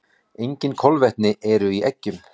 Engin kolvetni eru í eggjum.